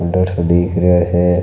अंदर से देख रिया है।